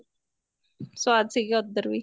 ਸਵਾਦ ਸੀਗਾ ਉੱਧਰ ਵੀ